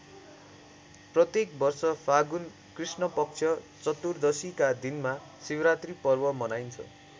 प्रत्येक वर्ष फागुन कृष्णपक्ष चतुर्दशीका दिनमा शिवरात्री पर्व मनाइन्छ।